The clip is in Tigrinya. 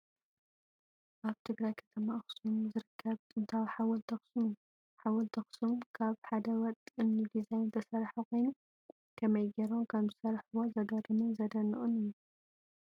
ኣብ ትግራይ ከተማ ኣክሱም ዝርከብ ጥንታዊ ሓወልቲ ኣክሱም እዩ ። ሓወልቲ ኣክሱም ካብ ሓደ ወጥ እምኒ ዲዛይን ዝተሰረሓ ኮይኑ፣ ከመይ ገይሮም ከምዝሰርሕዎ ዝገርምን ዘድንቅን እዩ ።